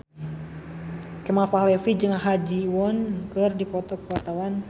Kemal Palevi jeung Ha Ji Won keur dipoto ku wartawan